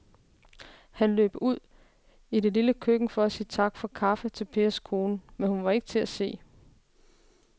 Han løb ud i det lille køkken for at sige tak for kaffe til Pers kone, men hun var ikke til at se.